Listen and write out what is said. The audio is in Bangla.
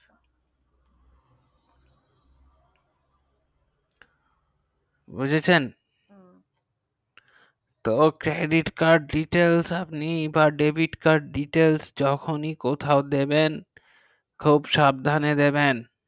বুঝেছেন তো credit card details বা david card details যখনি কোথাও দেবেন খুব সাবধানে দেবেন